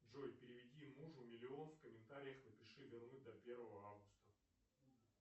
джой переведи мужу миллион в комментариях напиши вернуть до первого августа